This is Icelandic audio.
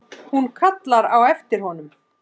Hún kallar á eftir honum.